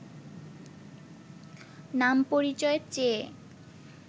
নাম পরিচয় চেয়ে